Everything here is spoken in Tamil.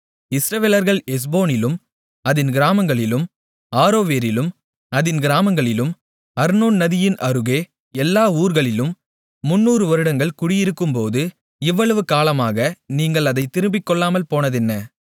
இஸ்ரவேலர்கள் எஸ்போனிலும் அதின் கிராமங்களிலும் ஆரோவேரிலும் அதின் கிராமங்களிலும் அர்னோன் நதியின் அருகே எல்லா ஊர்களிலும் முந்நூறு வருடங்கள் குடியிருக்கும்போது இவ்வளவு காலமாக நீங்கள் அதைத் திருப்பிக்கொள்ளாமல் போனதென்ன